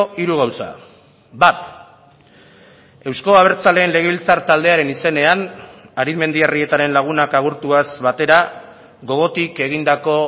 hiru gauza bat euzko abertzaleen legebiltzar taldearen izenean arizmendiarrietaren lagunak agurtuaz batera gogotik egindako